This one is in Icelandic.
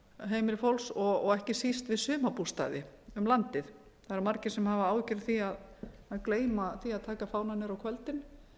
heimili fólks og ekki síst við sumarbústaði um landið það eru margir sem hafa áhyggjur af því að gleyma því að taka fánann niður á kvöldin